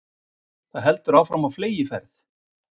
Það heldur áfram á fleygiferð